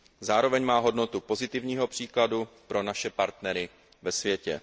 Zároveň má hodnotu pozitivního příkladu pro naše partnery ve světě.